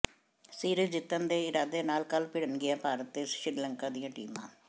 series ਜਿੱਤਣ ਦੇ ਇਰਾਦੇ ਨਾਲ ਕੱਲ੍ਹ ਭਿੜਣਗੀਆਂ ਭਾਰਤ ਤੇ ਸ੍ਰੀਲੰਕਾ ਦੀਆਂ ਟੀਮਾਂ